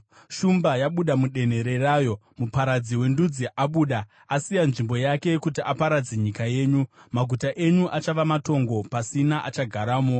Shumba yabuda mudenhere rayo; muparadzi wendudzi abuda. Asiya nzvimbo yake kuti aparadze nyika yenyu. Maguta enyu achava matongo pasina achagaramo.